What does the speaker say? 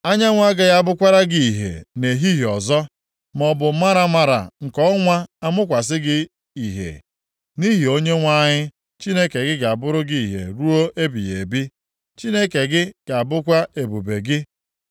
Anyanwụ agaghị abụkwara gị ìhè nʼehihie ọzọ, maọbụ maramara nke ọnwa amụkwasị gị ihe, nʼihi na Onyenwe anyị Chineke gị ga-abụrụ gị ìhè ruo ebighị ebi, Chineke gị ga-abụkwa ebube gị.